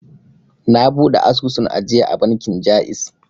Na buɗe asusun ajiya a bankin ja'iz